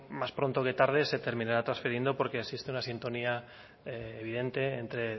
más pronto que tarde se terminará trasfiriendo porque existe una sintonía evidente entre